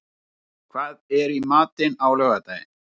Tyrfingur, hvað er í matinn á laugardaginn?